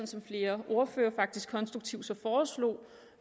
som flere ordførere faktisk så konstruktivt foreslog